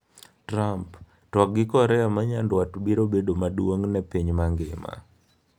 Trump: Twak gi Korea ma Nyanduat biro bedo maduong' ne piny mangima